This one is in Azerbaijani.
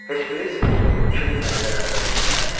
Heç bilirsizmi kiminlə belə rəftar eləyirlər?